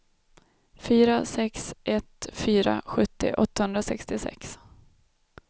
fyra sex ett fyra sjuttio åttahundrasextiosex